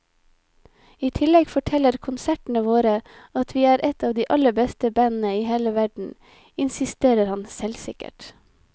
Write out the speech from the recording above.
I tillegg forteller konsertene våre at vi er et av de aller beste bandene i hele verden, insisterer han selvsikkert.